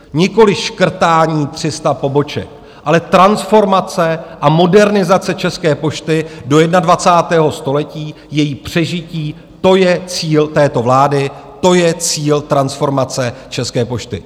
Nikoliv škrtání 300 poboček, ale transformace a modernizace České pošty do 21. století, její přežití, to je cíl této vlády, to je cíl transformace České pošty.